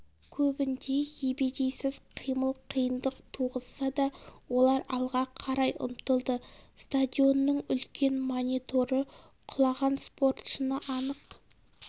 көбінде ебедейсіз қимыл қиындық туғызса да олар алға қарай ұмтылды стадионның үлкен мониторы құлаған спортшыны анық